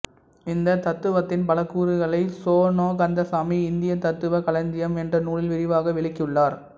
இந்த தத்துவத்தின் பல கூறுகளை சோ ந கந்தசாமி இந்திய தத்துவக் களஞ்சியம் என்ற நூலில் விரிவாக விளக்கியுள்ளார்